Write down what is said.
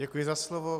Děkuji za slovo.